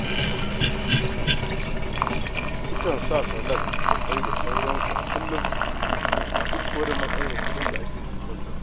Sukan ci salak da ƙwai da sauransu a kullum duk kuwa da matsalar kuɗin da suke fuskanta.